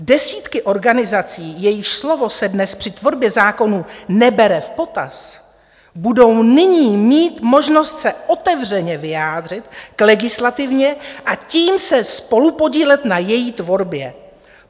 Desítky organizací, jejichž slovo se dnes při tvorbě zákonů nebere v potaz, budou nyní mít možnost se otevřeně vyjádřit k legislativě a tím se spolupodílet na její tvorbě.